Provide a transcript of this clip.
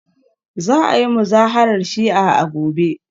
Za a yi Muzaharar Shi'a a gobe